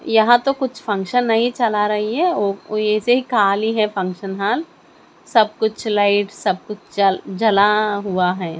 यहाँ तो कुछ फंक्शन नहीं चला रही है ओ ओ ऐसे ही खाली है फंक्शन हाल सब कुछ लाइट सबकुछ ज-जला हुआ है।